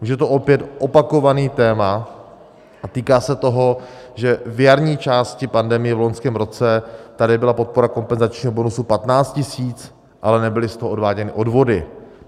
Už je to opět opakované téma a týká se toho, že v jarní části pandemie v loňském roce tady byla podpora kompenzačního bonusu 15 000, ale nebyly z toho odváděny odvody.